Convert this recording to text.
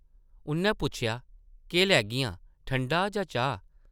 उʼन्नै पुच्छेआ, ‘‘केह् लैगियां, ठंडा जां चाह् ?’’